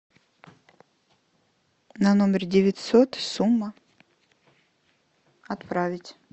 на номер девятьсот сумма отправить